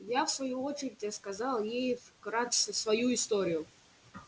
я в свою очередь рассказал ей вкратце свою историю